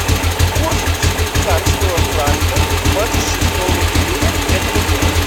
курс швейцарского франка двадцать шестого июля этого года